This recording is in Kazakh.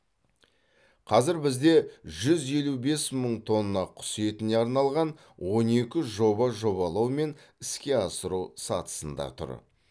қазір бізде жүз елу бес мың тонна құс етіне арналған он екі жоба жобалау мен іске асыру сатысында тұр